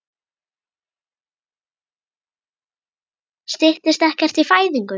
Styttist ekkert í fæðingu?